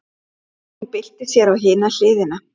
Hún byltir sér á hina hliðina.